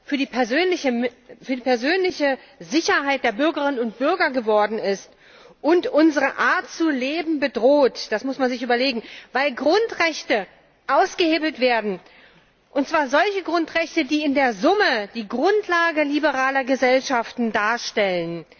für die persönliche Sicherheit der Bürgerinnen und Bürger geworden ist und unsere Art zu leben bedroht das muss man sich überlegen weil Grundrechte ausgehebelt werden, und zwar solche Grundrechte, die in der Summe die Grundlage liberaler Gesellschaften darstellen.